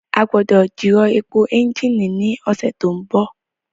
A gbọ́dọ̀ jìrọ̀ èpò ẹ́ńjìnì ní ọ̀sẹ̀ tó ń bọ̀